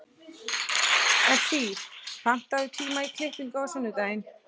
Esí, pantaðu tíma í klippingu á sunnudaginn.